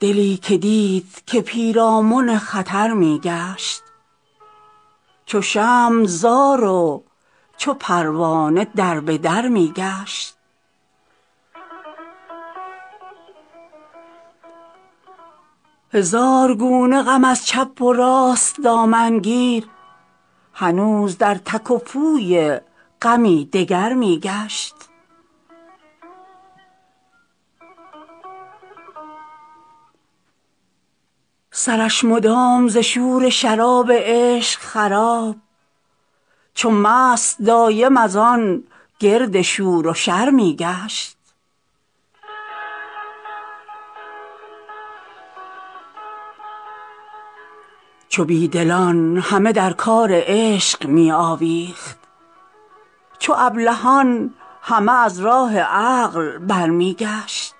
دلی که دید که پیرامن خطر می گشت چو شمع زار و چو پروانه در به در می گشت هزار گونه غم از چپ و راست دامن گیر هنوز در تک و پوی غمی دگر می گشت سرش مدام ز شور شراب عشق خراب چو مست دایم از آن گرد شور و شر می گشت چو بی دلان همه در کار عشق می آویخت چو ابلهان همه از راه عقل برمی گشت